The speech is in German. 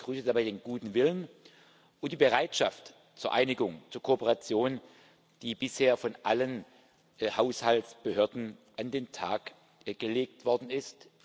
Ich begrüße aber den guten Willen und die Bereitschaft zur Einigung, zur Kooperation, die bisher von allen Haushaltsbehörden an den Tag gelegt worden ist.